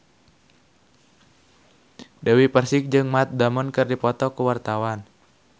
Dewi Persik jeung Matt Damon keur dipoto ku wartawan